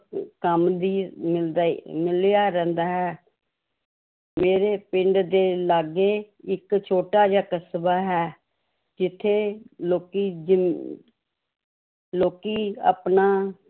ਕੰਮ ਵੀ ਮਿਲਦਾ ਹੀ ਮਿਲਿਆ ਰਹਿੰਦਾ ਹੈ ਮੇਰੇ ਪਿੰਡ ਦੇ ਲਾਗੇ ਇੱਕ ਛੋਟਾ ਜਿਹਾ ਕਸਬਾ ਹੈ ਜਿੱਥੇ ਲੋਕੀ ਜੋ ਲੋਕੀ ਆਪਣੀ